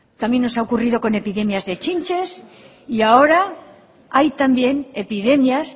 también nos ha ocurrido con epidemias de chinches y ahora hay también epidemias